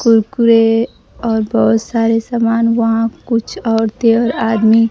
कुरकुरे और बहोत सारे समान वहां कुछ औरतें और आदमी--